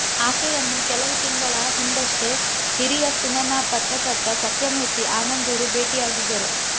ಆಕೆಯನ್ನು ಕೆಲವು ತಿಂಗಳ ಹಿಂದಷ್ಟೆ ಹಿರಿಯ ಸಿನೆಮಾ ಪತ್ರಕರ್ತ ಸತ್ಯಮೂರ್ತಿ ಆನಂದೂರು ಭೇಟಿ ಆಗಿದ್ದರು